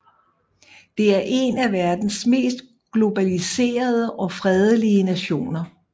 Det er en af verdens mest globaliserede og fredelige nationer